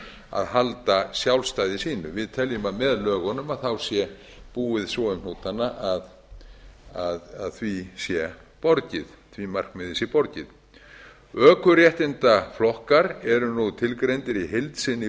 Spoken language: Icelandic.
að halda sjálfstæði sínu við teljum að með lögunum sé búið svo um hnútana að því markmiði sé borgið ökuréttindaflokkar eru nú tilgreindir í heild sinni í